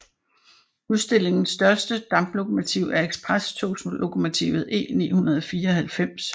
Udstillingens største damplokomotiv er eksprestogslokomotivet E 994